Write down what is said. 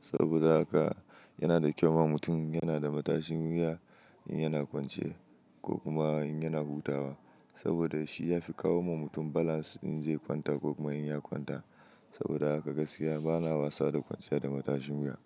Saboda haka yana da kyau ma, mutum yana da matashin wuya, in yana kwanciye ko kuma in yana hutawa saboda shi ya fi kawo wa mutum balance, in zai kwanta ko kuma in ya kwanta. Saboda haka gaskiya bana wasa da kwanciya da matashin wuya.